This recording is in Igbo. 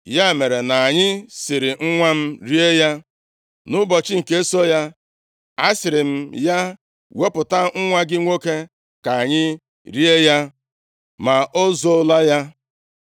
Ya mere, na anyị siri nwa m rie ya. Nʼụbọchị nke so ya asịrị m ya, ‘Wepụta nwa gị nwoke ka anyị rie ya,’ ma o zoola ya.”